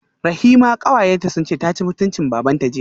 Rahima kawayenta sunce taci mutuncin babanta jiya